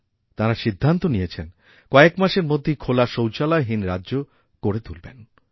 তাঁরা সিদ্ধান্ত নিয়েছেন কয়েক মাসের মধ্যেই খোলা শৌচালয়হীন রাজ্য করে তুলবেন